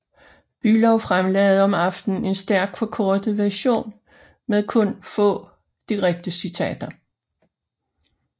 Bülow fremlagde om aftenen en stærkt forkortet version med kun få direkte citater